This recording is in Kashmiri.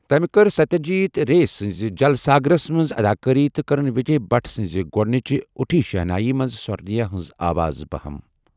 تمہِ کٔر سَتیہ جیٖت رے ،سٕنٛزِ جل ساگرَس، منٛز اَداکٲری تہٕ كٕرٕن وِجے بھٹ سٕنٛزِ 'گوُنٛج اُٹھی شہنایی' منٛز سورٕ نَیہِ ہِنٛز آواز بہم ۔